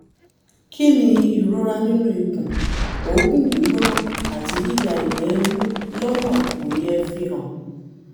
kí ni ìrora nínú ikùn òógùn gbígbóná àti yíya ìgbẹ́ inú lọ́nà kò yẹ fihàn?